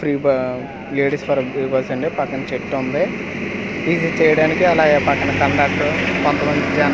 free బా ladies పర bus అండి పక్కనా చెట్టు ఉంది ఇది చేయడానికి అలాగే పక్కన కండక్టర్ కొంత మంది జనాలు--